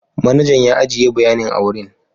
Manajan ya ajiye bayanin a wurin.